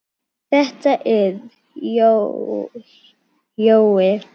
Þetta er Jói!